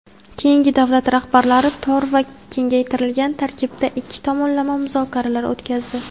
keyin davlat rahbarlari tor va kengaytirilgan tarkibda ikki tomonlama muzokaralar o‘tkazdi.